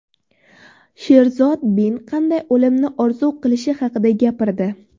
Sherzod Bin qanday o‘limni orzu qilishi haqida gapirdi.